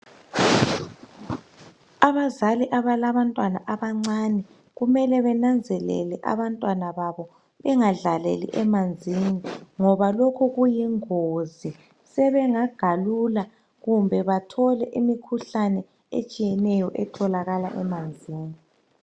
Abazali abalabantwana abancane kumele benanzelele abantwana babo bengadlaleli emanzini ngoba lokhu kuyingozi sebengagalula kumbe bathole imikhuhlane etshiyeneyo etholakala emanzini.